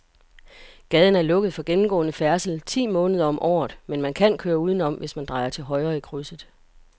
Gaden er lukket for gennemgående færdsel ti måneder om året, men man kan køre udenom, hvis man drejer til højre i krydset.